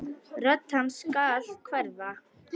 Rödd hans skal hverfa.